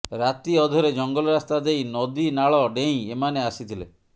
ରାତି ଅଧରେ ଜଙ୍ଗଲ ରାସ୍ତା ଦେଇ ନଦୀ ନାଳ ଡେଇଁ ଏମାନେ ଆସିଥିଲେ